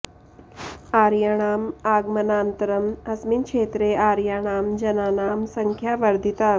आर्याणाम् आगमनानन्तरम् अस्मिन् क्षेत्रे आर्याणां जनानां सङ्ख्या वर्धिता